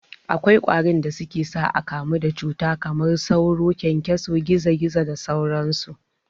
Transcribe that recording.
Akwai kwarin da suke sa akamu da cuta kamar sauro, kyankyaso, gizo gizo da sauran su.